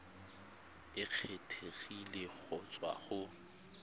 e kgethegileng go tswa go